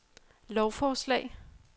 lovforslag